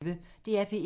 DR P1